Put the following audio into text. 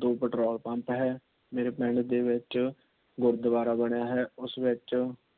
ਦੋ Petrol Pump ਹੈ। ਮੇਰੇ ਪਿੰਡ ਦੇ ਵਿੱਚ ਗੁਰਦਵਾਰਾ ਬਣਿਆ ਹੈ। ਉਸ ਵਿੱਚ